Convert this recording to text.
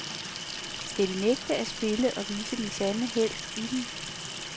Skal de nægte at spille og vise den sande helt i dem?